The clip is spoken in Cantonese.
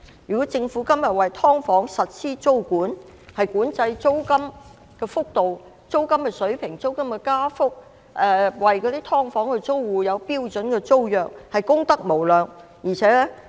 如果政府今天為"劏房"實施租管，管制租金的水平和加幅，並為"劏房"租戶訂立標準租約，便功得無量。